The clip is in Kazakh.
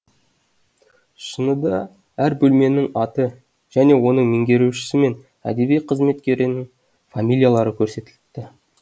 шыныда әр бөлменің аты және оның меңгерушісі мен әдеби қызметкерінің фамилиялары көрсетіліпті